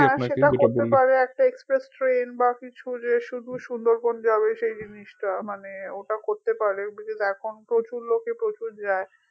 হ্যা সেটা করতে পারে একটা express train বা কিছু যে শুধু সুন্দরবন যাবে সেই জিনিসটা মানে ওটাও করতে পারে because এখন প্রচুর লোকে প্রচুর যায়